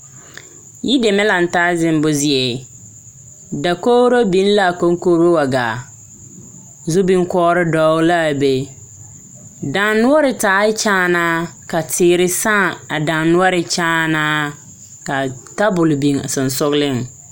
Yideme laŋ taa zemmo zie dakogro biŋ l,a konkogro wa gaa zu bonkɔgre dɔgle la a be dannoɔre taaɛ kyaanaa ka teere sãã a dannoɔre kyaanaaka tabol biŋ a sensogleŋ.